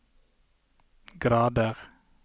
grader